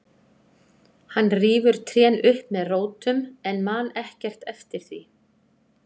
Hann rífur trén upp með rótum en man ekkert eftir því.